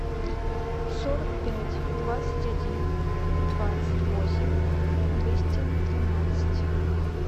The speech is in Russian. сорок пять двадцать один двадцать восемь двести тринадцать